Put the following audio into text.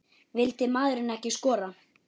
Vildi maðurinn ekki skora?